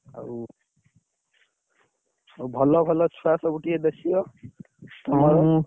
ଆଉ ଆଉ ଭଲ ଭଲ ଛୁଆ, କିଏ ସବୁ ଦେଖିବ